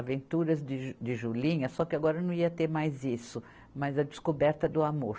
Aventuras de ju, de Julinha, só que agora não ia ter mais isso, mas a Descoberta do Amor.